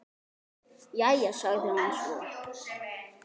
Jæja, sagði hann svo.